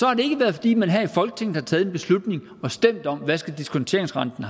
har det ikke været fordi man her i folketinget har taget en beslutning og stemt om hvad diskonteringsrenten